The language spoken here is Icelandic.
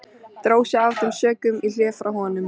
Dró sig af þeim sökum í hlé frá honum.